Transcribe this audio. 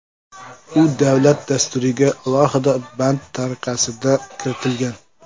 U davlat dasturiga alohida band tariqasida kiritilgan.